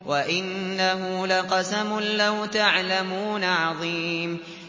وَإِنَّهُ لَقَسَمٌ لَّوْ تَعْلَمُونَ عَظِيمٌ